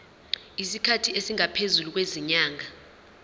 isikhathi esingaphezulu kwezinyanga